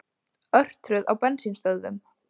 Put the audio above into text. Örtröð á bensínstöðvum